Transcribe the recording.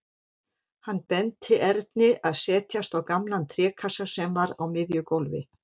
Hann benti Erni að setjast á gamlan trékassa sem var á miðju gólfi.